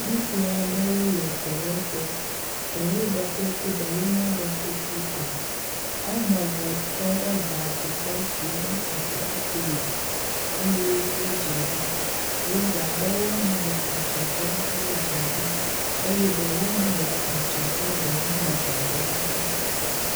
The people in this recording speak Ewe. Ŋutsu aɖewo le dɔwɔƒe. Ɖewo ɖɔ kuku ɖewo meɖɔ kuku o. Wɔme eve tɔ ɖe gago gbɔ si ŋu atrakpi le eye wodze ɖom. Bubu aɖewo hã le adzɔge na wo dze ɖom eye ɖewo hã le adzɔge dɔ wɔm le gago la ŋuti.